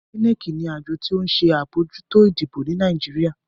INEC ní Àjọ ti o nṣe abojuto ìdìbò ní Nàìjíríà.